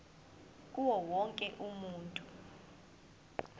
kuwo wonke umuntu